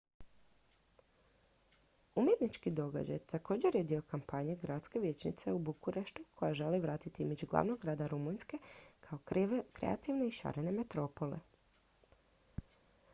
umjetnički događaj također je dio kampanje gradske vijećnice u bukureštu koja želi vratiti imidž glavnog grada rumunjske kao kreativne i šarene metropole